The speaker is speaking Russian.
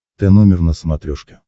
тномер на смотрешке